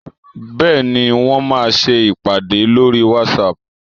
Bẹ́ẹ̀ni, Wọ́n máa ṣe ìpàdé lórí whatsapp